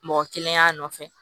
Mɔgɔ kelen y'a nɔfɛ